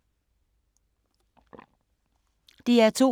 DR2